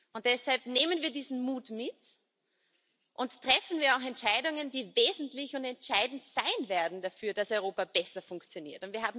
Und deshalb Nehmen wir diesen Mut mit und treffen wir auch Entscheidungen, die wesentlich und entscheidend sein werden dafür, dass Europa besser funktioniert!